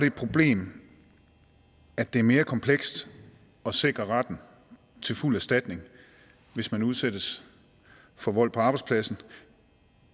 et problem at det er mere komplekst at sikre retten til fuld erstatning hvis man udsættes for vold på arbejdspladsen